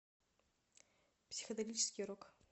психоделический рок